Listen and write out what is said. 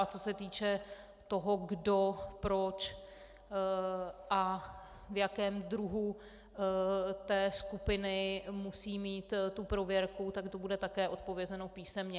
A co se týče toho, kdo, proč a v jakém druhu té skupiny musí mít tu prověrku, tak to bude také odpovězeno písemně.